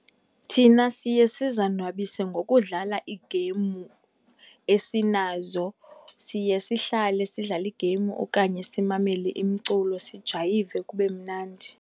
Thina siye sizonwabise ngokudlala iigeyimu esinazo. Siye sihlale sidlale iigeyimu okanye simamele imculo, sijayive kube mnandi.